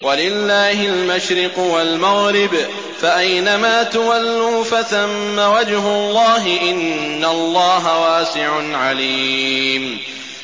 وَلِلَّهِ الْمَشْرِقُ وَالْمَغْرِبُ ۚ فَأَيْنَمَا تُوَلُّوا فَثَمَّ وَجْهُ اللَّهِ ۚ إِنَّ اللَّهَ وَاسِعٌ عَلِيمٌ